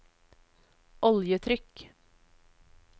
oljetrykk